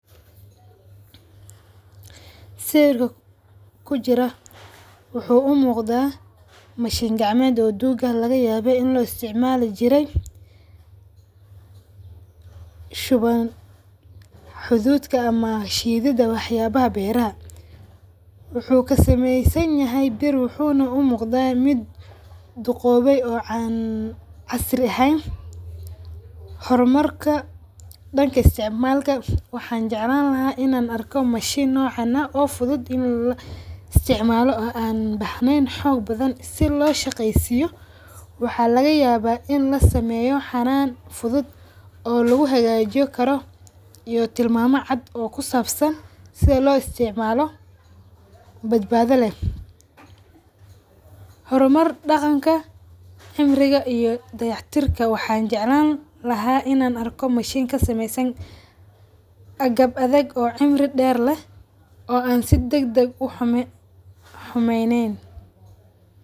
Sawirka kujiro waxa u muqda machine gacameed oo duuga lagayabe in loo isticmali jire xudhuda ama shidhadha wax yaabah beeraha. Wuxu kasamesanyahy bir wuxu na u muqda mid duqoowe ee an casri eheen. Hormarka daanka isticmalka waxan jeclaan laha inan arko machine noocan oo fudhud in la isticmaalo aan ubahneyn xoog badhan si loo shaqeysiyo. Waxa laqayawa in lasemeyo xanaan fudhud oo lagu hagajin karoo iyo tilmama caad oo kusabsaan si loo isticmaalo baadbada leeh. Hormar daqanka cimriga iyo dagax tirka waxan jeclan laha inaa arko machine kasamesan agaab adag oo cimri deer leeh oo an si daagdag u xumeyneen.